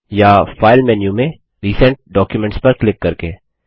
या file menu में recent documents पर क्लिक करके